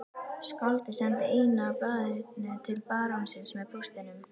Skáldið sendi eintak af blaðinu til barónsins með póstinum.